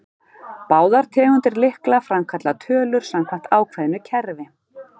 Báðar tegundir lykla framkalla tölur samkvæmt ákveðnu kerfi.